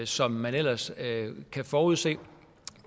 som man ellers kan forudse